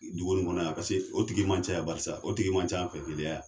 Dugu in kɔnɔ yan paseke o tigi man ca yan barisa o tigi man ca an fɛ Keleya yan.